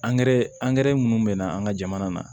Angɛrɛ angɛrɛ minnu bɛ na an ka jamana na